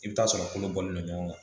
I bɛ t'a sɔrɔ kolobɔlen don ɲɔgɔn kan